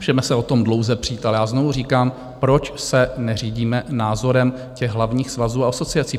Můžeme se o tom dlouze přít, ale já znovu říkám, proč se neřídíme názorem těch hlavních svazů a asociací?